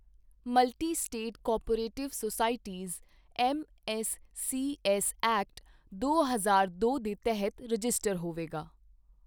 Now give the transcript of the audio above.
multi state cooperative societies MSCS act, ਦੋ ਹਜ਼ਾਰ ਦੋ ਦੇ ਤਹਿਤ ਰਜਿਸਟਰਡ ਹੋਵੇਗੀ